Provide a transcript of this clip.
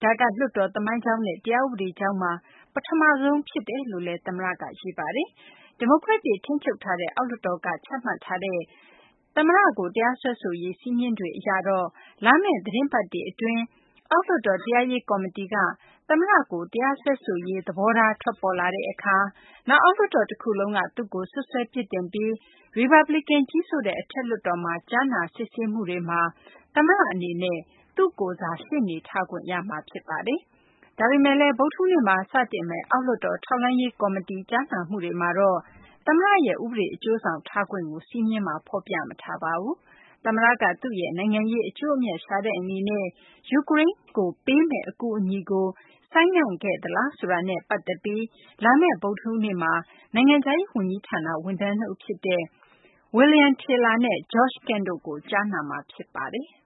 ။ ဒါက လွှတ်တော်သမိုင်းကြောင်းနဲ့ တရားဥပဒေကြောင်းမှာ ပထမဆုံးဖြစ်တယ်လို့လည်း သမ္မတက ရေးပါတယ်။ ဒီမိုကရက်တွေ ထိန်းချုပ်ထားတဲ့ အောက်လွှတ်တော်က ချမှတ်ထားတဲ့ သမ္မတကို တရားစွဲဆိုရေး စည်းမျဉ်းတွေအရတော့ လာမယ့်သီတင်းပတ်တွေအတွင်း အောက်လွှတ်တော် တရားရေးကော်မတီက သမ္မတကို တရားစွဲဆိုရေး သဘောထား ထွက်ပေါ်လာတဲ့အခါ၊ နောက် အောက်လွှတ်တော်တခုလုံးက သူ့ကို စွပ်စွဲပြစ်တင်ပြီး ရီပတ်ဘလစ်ကန် ကြီးစိုးတဲ့ အထက်လွှတ်တော်မှာ ကြားနာစစ်ဆေးမှုတွေမှာ သမ္မတအနေနဲ့ သူ့ကိုယ်စား ရှေ့နေထားခွင့်ရမှာ ဖြစ်ပါတယ်။ ဒါပေမယ့်လည်း ဗုဒ္ဓဟူးနေ့မှာ စတင်မယ့် အောက်လွှတ်တော် ထောက်လှမ်းရေး ကော်မတီ ကြားနာမှုတွေမှာတော့ သမ္မတရဲ့ ဥပဒေအကျိုးဆောင်ထားခွင့်ကို စည်းမျဉ်းမှာ ဖော်ပြမထားပါဘူး။ သမ္မတက သူ့ရဲ့ နိုင်ငံရေးအကျိုးအမြတ် ရှာတဲ့အနေနဲ့ ယူကရိန်းကိုပေးမယ့် အကူအညီကို ဆိုင်းငံ့ခဲ့သလားဆိုတာကို လာမယ့် ဗုဒ္ဓဟူးနေ့မှာ နိုင်ငံခြားရေး ဝန်ကြီးဌာန ဝန်ထမ်း ၂ ဦးဖြစ်တဲ့ William Taylor နဲ့ George Kent တို့ကို ကြားနာမှာ ဖြစ်ပါတယ်။